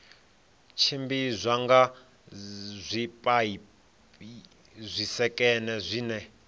tshimbidzwa nga zwipaipi zwisekene zwine